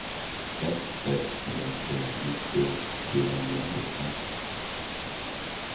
ett sex tre tre nittio fyrahundrasjutton